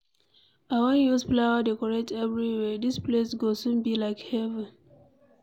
I wan use flower decorate everywhere. Dis place go soon be like heaven.